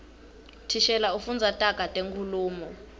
thishela ufundza taga tenkhulumo